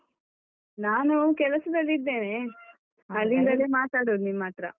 ನಾನು ಕೆಲಸದಲ್ಲಿದ್ದೇನೆ. ಮಾತಾಡುದು ನಿಮ್ಮತ್ರ.